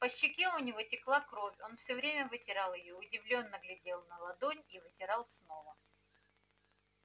по щеке у него текла кровь он все время вытирал её удивлённо глядел на ладонь и вытирал снова